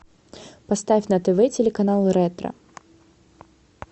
поставь на тв телеканал ретро